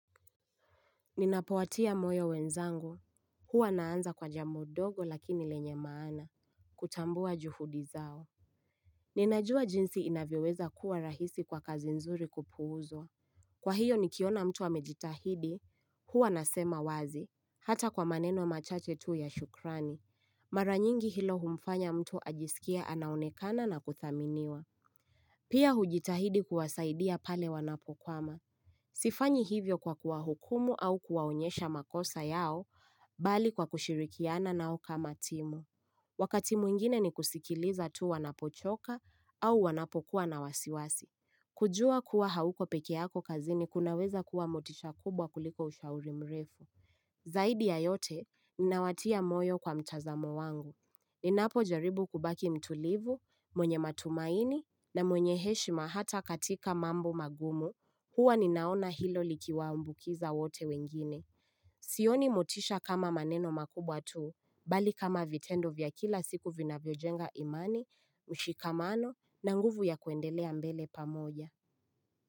Ninapowatia moyo wenzangu, huwa naanza kwa jambo ndogo lakini lenye maana, kutambua juhudi zao. Ninajua jinsi inavyoweza kuwa rahisi kwa kazi nzuri kupuuzwa. Kwa hiyo nikiona mtu amejitahidi, huwa nasema wazi, hata kwa maneno machache tu ya shukrani. Mara nyingi hilo humfanya mtu ajisikie anaonekana na kuthaminiwa. Pia hujitahidi kuwasaidia pale wanapokwama. Sifanyi hivyo kwa kuwahukumu au kuwaonyesha makosa yao bali kwa kushirikiana nao kama timu. Wakati mwingine ni kusikiliza tu wanapochoka au wanapokuwa na wasiwasi. Kujua kuwa hauko pekeyako kazini kunaweza kuwa motisha kubwa kuliko ushauri mrefu. Zaidi ya yote, ninawatia moyo kwa mtazamo wangu. Ninapo jaribu kubaki mtulivu, mwenye matumaini na mwenye heshima hata katika mambo magumu. Huwa ninaona hilo likiwa ambukiza wote wengine. Sioni motisha kama maneno makubwa tuu. Bali kama vitendo vya kila siku vinavyo jenga imani, mshikamano, na nguvu ya kuendelea mbele pamoja.